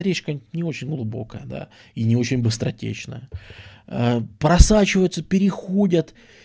речка не очень глубокая да и не очень быстротечная а просачиваются переходят